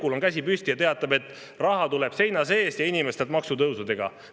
" Jukul on käsi püsti ja ta teatab, et raha tuleb seina seest ja inimestelt maksutõusudega.